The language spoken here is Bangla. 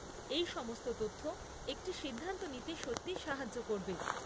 এই সমস্ত তথ্য একটি সিদ্ধান্ত নিতে সত্যিই সাহায্য করবে।